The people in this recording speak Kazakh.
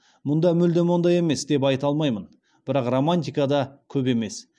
мұнда мүлдем ондай емес деп айта алмаймын бірақ романтика да көп емес